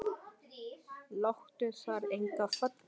Lát þar enga falla.